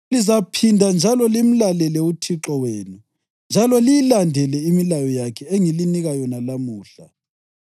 Lizaphinda njalo limlalele uThixo wenu njalo liyilandele imilayo yakhe engilinika yona lamuhla.